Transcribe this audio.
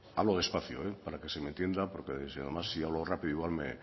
hablo despacio hoy para que se me entienda porque además si hablo rápido igual